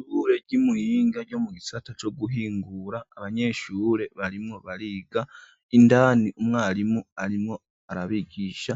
Ishure ry'Imuhinga ryo mu gisata co guhingura ,abanyeshure barimwo bariga, indani umwarimu arimwo arabigisha